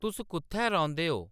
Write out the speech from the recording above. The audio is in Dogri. तुस कुʼत्थै रौंह्‌‌‌दे ओ